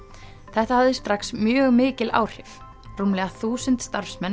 þetta hafði strax mjög mikil áhrif rúmlega þúsund starfsmenn